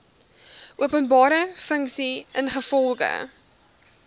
openbare funksie ingevolge